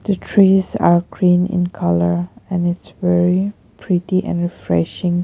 The trees are green in colour and is very pretty and refreshing.